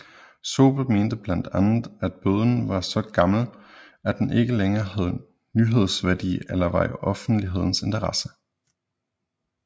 Zobel mente blandt andet at bøden var så gammel at den ikke længere havde nyhedsværdi eller var i offentlighedens interesse